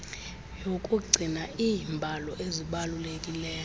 yokugcina iimbalo ezibalulekileyo